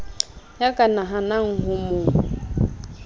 ya ka nahanang ho mo